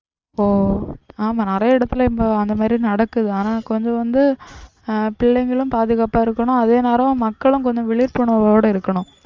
ஓ, ஆமாம் நிறைய இடத்துல இப்போ அந்த மாதிரி நடக்குது. ஆனா கொஞ்சம் வந்து ஆஹ் பிள்ளைங்களும் பாதுகாப்பா இருக்கனும் அதே நேரம் மக்களும் கொஞ்சம் விழிப்புணர்வோட இருக்கனும்.